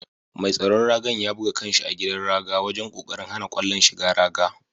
Mai tsaron raga'n ya buga kan' shi a gidan raga wajen kokarin hana kwallon shigan raga.